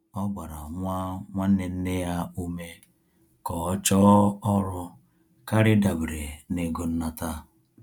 Ọ gbara nwa nwanne nneya ume ka ọ chọọ ọrụ karịa ịdabere na-ego nnata